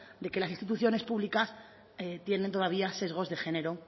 de que las instituciones públicas tienen todavía sesgos de género